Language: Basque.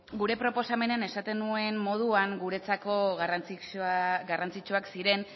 gure proposamenean esaten nuen moduan guretzako garrantzitsuak ziren